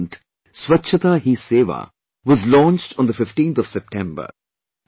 A movement "Swachhta Hi Sewa" was launched on the 15thof September